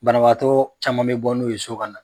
Banabaatɔɔ caman bɛ bɔ n'o ye so kana.